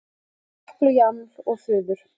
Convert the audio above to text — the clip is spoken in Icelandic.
eftir japl og jaml og fuður